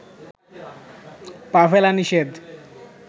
পা ফেলা নিষেধ